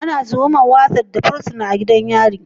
Ana tuhumar Warders da fursuna a gidan yari